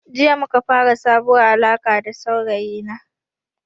Jiya muka fara sabuwar alarka da saurayi na